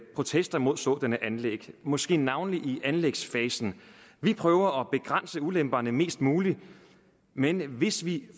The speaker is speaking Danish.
protester imod sådanne anlæg måske navnlig i anlægsfasen vi prøver at begrænse ulemperne mest muligt men hvis vi